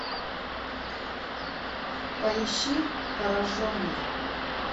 поищи пораженный